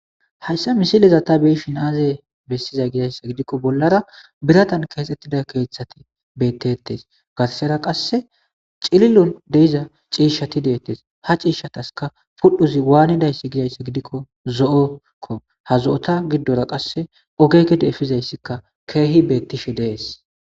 Hayssa misileza tha be7ishin aazee bessizay gizayssa gidikko bollara birathan keexeththida keeththathi beeththeeththes;garssera qassi cililo de7iza ciishshathi deeththes;ha ciishshathaskka huphezi waanidayssa gizayssa gidikko zo7o koo; ha zo7otha giddora qassi oge gede efizayssika keehi beeththishe de7ees.